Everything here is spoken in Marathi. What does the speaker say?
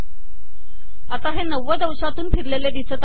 आता हे नव्वद अंशातून फिरलेले दिसते आहे